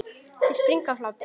Þeir springa af hlátri.